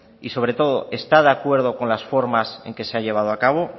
y sobre todo está de acuerdo con las formas en que se ha llevado a cabo